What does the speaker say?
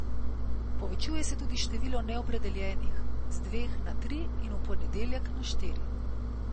Povečuje se tudi število neopredeljenih, z dveh na tri in v ponedeljek na štiri.